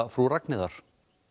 Frú Ragnheiðar